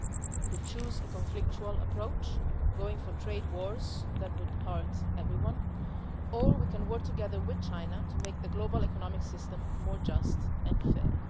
We could choose a conflictual approach, going for trade wars that would hurt everyone, or we can work together with China to make the global economic system more just and